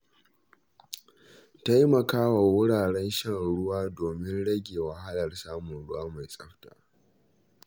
Taimakawa wuraren shan ruwa domin rage wahalar samun ruwa mai tsafta.